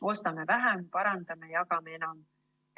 Ostame vähem, parandame ja jagame enam.